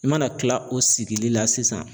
I mana kila o sigili la sisan